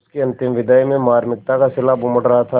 उसकी अंतिम विदाई में मार्मिकता का सैलाब उमड़ रहा था